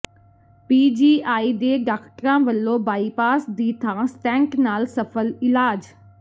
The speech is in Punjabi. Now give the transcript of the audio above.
ਪੀ ਜੀ ਆਈ ਦੇ ਡਾਕਟਰਾਂ ਵੱਲੋਂ ਬਾਈਪਾਸ ਦੀ ਥਾਂ ਸਟੈਂਟ ਨਾਲ ਸਫ਼ਲ ਇਲਾਜ